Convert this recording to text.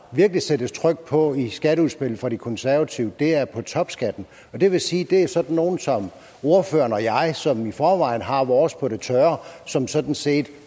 virkelig sættes tryk på i skatteudspillet fra de konservative er ovenikøbet på topskatten og det vil sige at det er sådan nogle som ordføreren og jeg som i forvejen har vores på det tørre som sådan set